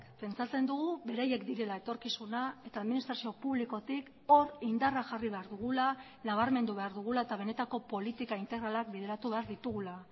pentsatzen dugu beraiek direla etorkizuna eta administrazio publikotik hor indarra jarri behar dugula nabarmendu behar dugula eta benetako politika integralak bideratu behar ditugula